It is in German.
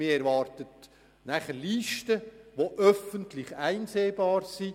Man erwartet Listen, welche öffentlich einsehbar sind.